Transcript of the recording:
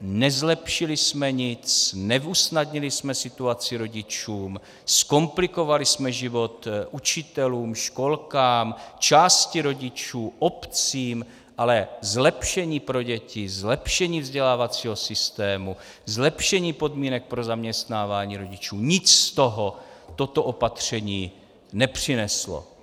nezlepšili jsme nic, neusnadnili jsme situaci rodičům, zkomplikovali jsme život učitelům, školkám, části rodičů, obcím, ale zlepšení pro děti, zlepšení vzdělávacího systému, zlepšení podmínek pro zaměstnávání rodičů, nic z toho toto opatření nepřineslo.